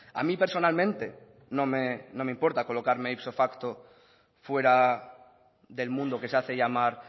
a mí personalmente no me importa colocarme ipso facto fuera del mundo que se hace llamar